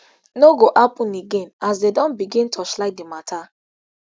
no go happun again as dem don begin torchlight di mata